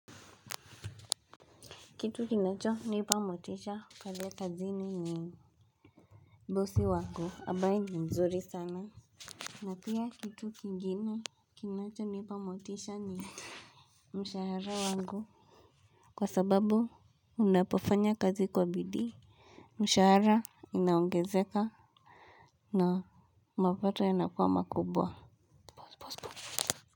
Kitu kinachonipa motisha pale kazini ni bosi wangu ambaye ni mzuri sana. Na pia kitu kingine kinachonipa motisha ni mshahara wangu kwa sababu unapofanya kazi kwa bidii. Mshahara inaongezeka na mapato yanakua makubwa.